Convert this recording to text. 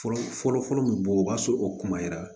Fɔlɔ fɔlɔ fɔlɔ bɛ bɔ o b'a sɔrɔ o kuma yɛrɛ